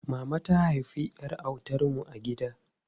Mama ta haifi ƴar autan mu a gida.